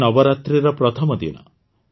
କାଲି ନବରାତ୍ରିର ପ୍ରଥମ ଦିନ